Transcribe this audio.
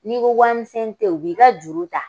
N'i ko wari misɛn tɛ yen u b'i ka juru ta